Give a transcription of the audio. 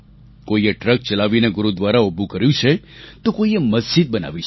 કોઈએ ટ્રક ચલાવીને ગુરુદ્વારા ઉભું કર્યું છે તો કોઈએ મસ્જિદ બનાવી છે